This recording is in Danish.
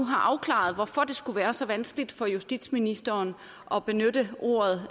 have afklaret hvorfor det skulle være så vanskeligt for justitsministeren at benytte ordet